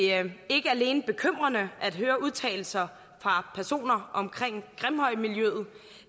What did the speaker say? er det ikke alene bekymrende at høre udtalelser fra personer omkring grimhøjmiljøet